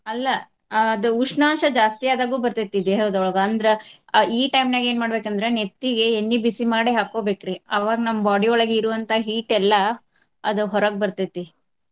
ಅಲ್ಲಾ ಅದ್ ಉಷ್ಣಾಂಶ ಜಾಸ್ತಿ ಆದಾಗು ಬರ್ತೈತಿ ದೇಹದೊಳಗ ಅಂದ್ರ ಅ ಈ time ನ್ಯಾಗ ಏನ ಮಾಡ್ಬೇಕ ಅಂದ್ರ ನೆತ್ತಿಗೆ ಎಣ್ಣಿ ಬಿಸಿ ಮಾಡಿ ಹಾಕ್ಕೊಬೇಕ್ರಿ. ಅವಾಗ್ ನಮ್ಮ್ body ಯೊಳಗ್ ಇರುವಂತ heat ಎಲ್ಲಾ ಅದ ಹೊರಗ್ ಬರ್ತೈತಿ.